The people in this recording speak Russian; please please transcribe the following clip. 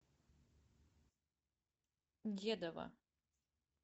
дедова